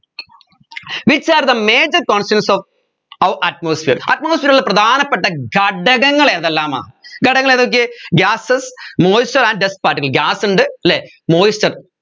which are the major constanants of our atmosphereatmosphere ലെ പ്രധാനപ്പെട്ട ഘടകങ്ങൾ എതെല്ലാമാ ഘടകങ്ങൾ ഏതൊക്കെ gasesmoisture and dust particlesgas ഉണ്ട് അല്ലെ moisture